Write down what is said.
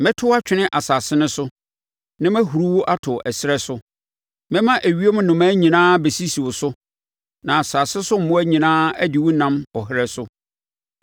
Mɛto wo atwene asase no so na mahuri wo ato ɛserɛ so. Mɛma ewiem nnomaa nyinaa abɛsisi wo so na asase so mmoa nyinaa adi wo nam ɔherɛ so.